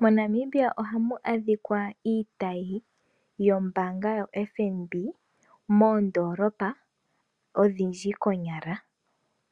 Mo Namibia ohamu adhika iitayi yombaanga yo FNB moondolopa odhindji konyala